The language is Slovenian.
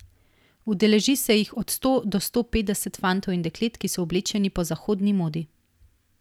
Udeleži se jih od sto do sto petdeset fantov in deklet, ki so oblečeni po zahodni modi.